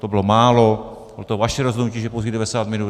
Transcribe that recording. To bylo málo, bylo to vaše rozhodnutí, že pouhých 90 minut.